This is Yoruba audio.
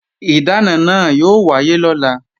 Ìdáná náà yóò wáyé lọ́la